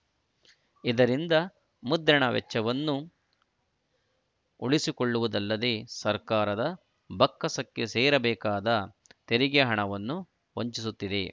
ಇದರಿಂದ ಮುದ್ರಣ ವೆಚ್ಚವನ್ನು ಉಳಿಸಿಕೊಳ್ಳುವುದಲ್ಲದೆ ಸರ್ಕಾರದ ಬೊಕ್ಕಸಕ್ಕೆ ಸೇರಬೇಕಾದ ತೆರಿಗೆ ಹಣವನ್ನು ವಂಚಿಸುತ್ತಿದೆ